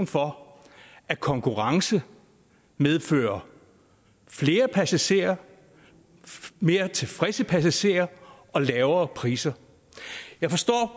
for at konkurrence medfører flere passagerer og mere tilfredse passagerer og lavere priser jeg forstår